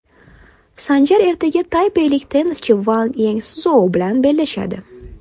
Sanjar ertaga taypeylik tennischi Vang Yeu Szuo bilan bellashadi.